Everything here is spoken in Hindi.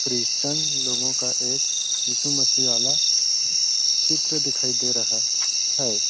क्रिश्चन लोगों का एक यीशु मसीह वाला चित्र दिखाई दे रहा हैं ।